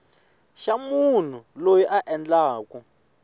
xa munhu loyi a endlaku